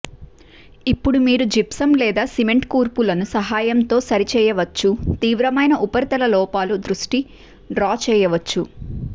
ఇప్పుడు మీరు జిప్సం లేదా సిమెంట్ కూర్పులను సహాయంతో సరి చేయవచ్చు తీవ్రమైన ఉపరితల లోపాలు దృష్టి డ్రా చేయవచ్చు